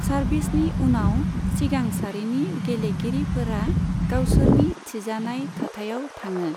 सार्भिसनि उनाव, सिगां सारिनि गेलेगिरिफोरा गावसोरनि थिजानाय थाथायाव थाङो।